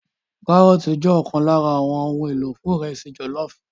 Kárọ́ọ̀tì jẹ́ ọ̀kan lára àwọn ohun èlò fún ìrẹsì jọ̀lọ́ọ̀fù